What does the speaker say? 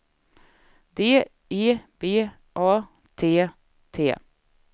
D E B A T T